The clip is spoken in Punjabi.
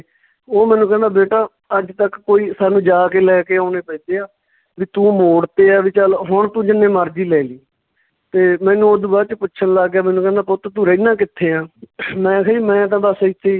ਉਹ ਮੈਨੂੰ ਕਹਿੰਦਾ ਬੇਟਾ ਅੱਜ ਤੱਕ ਕੋਈ ਸਾਨੂੰ ਜਾ ਕੇ ਲੈਕੇ ਆਉਣੇ ਪੈਂਦੇ ਆ ਵੀ ਤੂੰ ਮੌੜਤੇ ਆ ਵੀ ਚੱਲ ਹੁਣ ਤੂੰ ਜਿੰਨੇ ਮਰਜੀ ਲੈ ਜਾਈ ਤੇ ਮੈਨੂੰ ਓਦੂ ਬਾਅਦ ਚ ਪੁੱਛਣ ਲੱਗ ਗਿਆ ਮੈਨੂੰ ਕਹਿੰਦਾ ਪੁੱਤ ਤੂੰ ਰਹਿੰਦਾ ਕਿੱਥੇ ਆ ਮੈਂ ਕਿਹਾ ਜੀ ਮੈਂ ਤਾਂ ਬਸ ਇੱਥੇ ਈ